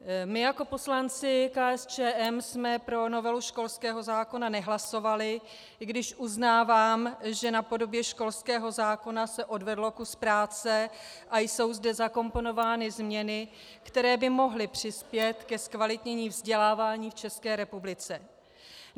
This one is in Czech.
My jako poslanci KSČM jsme pro novelu školského zákona nehlasovali, i když uznávám, že na podobě školského zákona se odvedl kus práce a jsou zde zakomponovány změny, které by mohly přispět ke zkvalitnění vzdělávání v České republice.